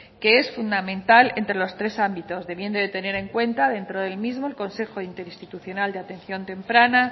que es fundamental entre los tres ámbitos debiendo de tener en cuenta dentro del mismo el consejo interinstitucional de atención temprana